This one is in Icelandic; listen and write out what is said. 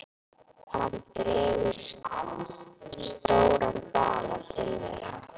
Hann dregur stóran bala til þeirra.